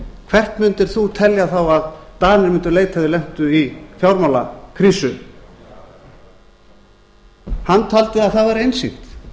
hvert mundir þú telja þá að danir mundu leita ef þeir lentu í fjármálakrísu hann taldi að það væri einsýnt